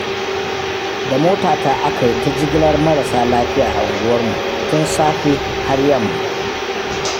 Da motata aka yi ta jigilar marasa lafiya a unguwarmu, tun safe har yamma.